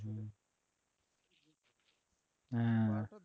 হ্যাঁ